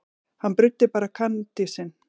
Hann bruddi bara kandísinn.